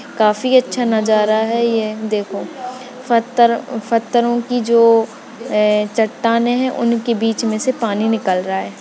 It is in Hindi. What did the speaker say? काफी अच्छा नजारा है ये देखो पत्थर पत्थरोंकी जो ये चट्टानें है उनके बीच में से पानी निकल रहा है।